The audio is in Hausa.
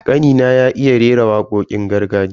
Kanina ya iya rera wakokin gargajiya.